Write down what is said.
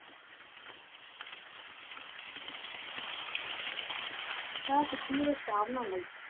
ਬਸ ਕੁਛ ਨੀ ਚਾਹ ਬਣਾਉਣ ਆਈ ਸੀ